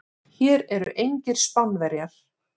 Hér eru engir Spánverjar.